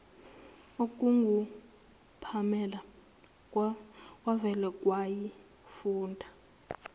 okungupamela kwavele kwayifunda